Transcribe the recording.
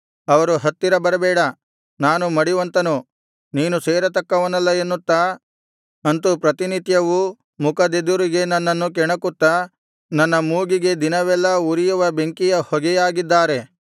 ಅವರು ಹತ್ತಿರ ಬರಬೇಡ ನಾನು ಮಡಿವಂತನು ನೀನು ಸೇರತಕ್ಕವನಲ್ಲ ಎನ್ನುತ್ತಾ ಅಂತು ಪ್ರತಿನಿತ್ಯವೂ ಮುಖದೆದುರಿಗೆ ನನ್ನನ್ನು ಕೆಣಕುತ್ತಾ ನನ್ನ ಮೂಗಿಗೆ ದಿನವೆಲ್ಲಾ ಉರಿಯುವ ಬೆಂಕಿಯ ಹೊಗೆಯಾಗಿದ್ದಾರೆ